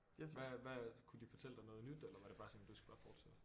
Hvad hvad kunne de fortælle dig noget nyt eller var det bare sådan du skal bare fortsætte